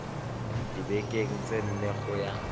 dibekeng tse nne go ya